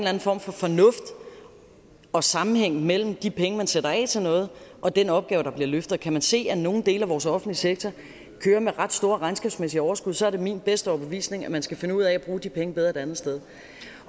anden form for fornuft og sammenhæng mellem de penge som man sætter af til noget og den opgave der bliver løftet og kan man se at nogle dele af vores offentlige sektor kører med ret store regnskabsmæssige overskud så er det min bedste overbevisning at man skal finde ud af at bruge de penge bedre et andet sted